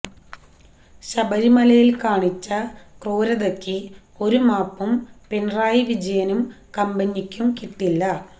ശബരിമലയിൽ കാണിച്ച ക്രൂരതയ്ക്ക് ഒരു മാപ്പും പിണറായി വിജയനും കമ്പനിക്കും കിട്ടില്ല